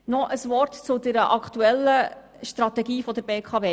Noch ein Wort zur aktuellen Strategie der BKW.